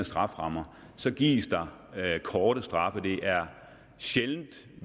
strafferammer gives der korte straffe det er sjældent